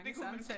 Det kunne man